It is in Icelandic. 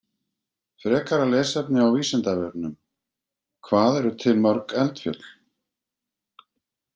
Frekara lesefni á Vísindavefnum: Hvað eru til mörg eldfjöll?